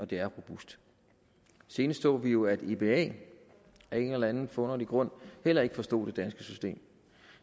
det er robust senest så vi jo at eba af en eller en forunderlig grund heller ikke forstod det danske system